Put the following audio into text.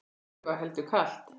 Vorið var heldur kalt.